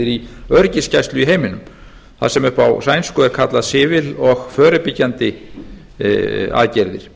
í öryggisgæslu í heiminum þar sem upp á sænsku er kallað civil och förebyggende aðgerðir